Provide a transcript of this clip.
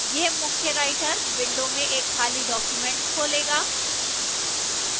यह मुख्य writer window में एक खाली document खोलेगा